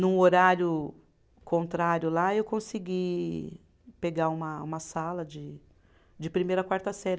Num horário contrário lá, eu consegui pegar uma uma sala de, de primeira a quarta série.